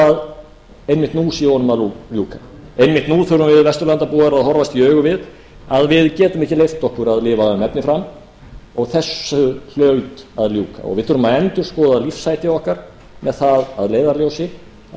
að einmitt nú sé honum að ljúka einmitt nú þurfum við vesturlandabúar að horfast í augu við að við getum ekki leyft okkur að lifa um efni fram og þessu hlaut að ljúka við þurfum að endurskoða lífshætti okkar með það að leiðarljósi að